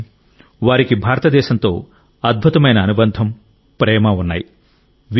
కానీ వారికి భారతదేశంతో అద్భుతమైన అనుబంధం ప్రేమ ఉన్నాయి